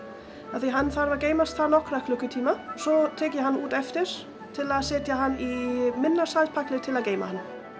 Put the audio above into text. af því að hann þarf að geymast þar í nokkra klukkutíma svo tek ég hann úr á eftir til að setja hann í minni saltpækil til að geyma